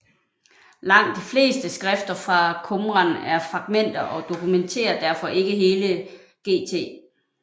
Langt de fleste skrifter fra Qumran er fragmenter og dokumenterer derfor ikke hele GT